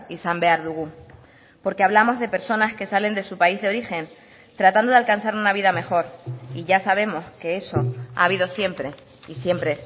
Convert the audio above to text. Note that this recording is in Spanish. izan behar dugu porque hablamos de personas que salen de su país de origen tratando de alcanzar una vida mejor y ya sabemos que eso ha habido siempre y siempre